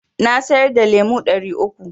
Na siyar da lemo ɗari uku.